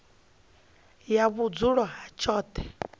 ya vhudzulo ha tshoṱhe i